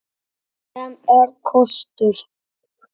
Sem er kostur!